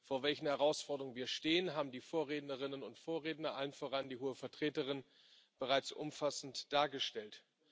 Vor welchen Herausforderungen wir stehen, haben die Vorrednerinnen und Vorredner, allen voran die Hohe Vertreterin, bereits umfassend dargestellt.